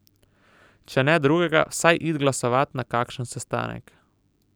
Če ne drugega, vsaj it glasovat na kakšen sestanek.